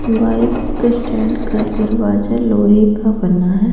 Bike stand का दरवाजा लोहे का बना है।